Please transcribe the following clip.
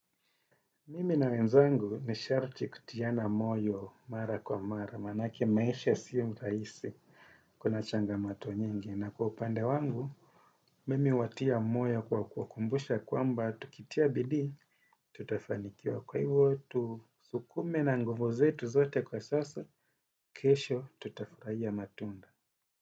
Mimi na wenzangu ni sharti kutiana moyo mara kwa mara, manake maisha siyo rahisi kuna changamato nyingi. Na kwa upande wangu, mimi huwatia moyo kwa kuwakumbusha kwamba tukitia bidii, tutafanikiwa kwa hivo tu. Sukume na nguvu zetu zote kwa sasa, kesho tutafurahia matunda.